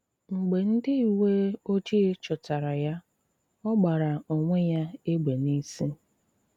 M̀gbè ndị uwe ojii chụ̀tára ya, ọ gbàrà onwé ya égbè n'ìsi